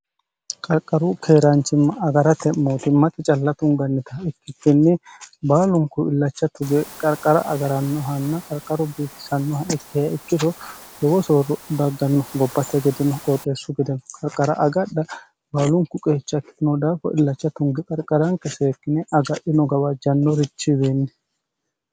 qarqaru keeraanchimma agarate mootimmate calla tungannita ikkikinni baalunku illacha tuge qarqara agarannohanna qarqara bifisannoha ikkiha ikkiro lowo soorro dagganno gobbate gedeno qooxeessu gedeno qarqara agadha baalunku qeecha ikitino daafo illacha tunge qarqaranke seekkine agadhino gawajjannorichiwiinni